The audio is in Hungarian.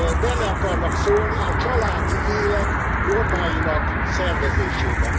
Bele akarnak szólni a családi élet normáinak szervezésébe.